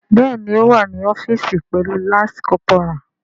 Bẹẹni o wa ni ọfiisi pẹlu lance corporal.